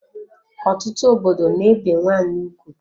Ọtụtụ obodo n'ebe nwanyị ugwu